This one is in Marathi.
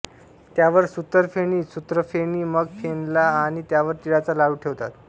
त्यावर सुत्तरफेणी सूत्रफेणी मग फेनला आणि त्यावर तिळाचा लाडू ठेवतात